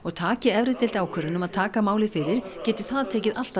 taki efri deild ákvörðun um að taka málið fyrir geti það tekið alt að